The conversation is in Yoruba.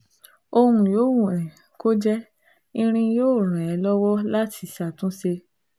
Ohun yòówù um kó jẹ́, irin yóò ràn ẹ́ lọ́wọ́ láti ṣàtúnṣe